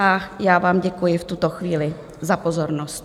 A já vám děkuji v tuto chvíli za pozornost.